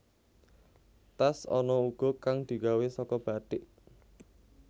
Tas ana uga kang digawé saka bathik